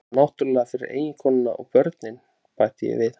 Nema náttúrlega fyrir eiginkonuna og börnin, bæti ég við.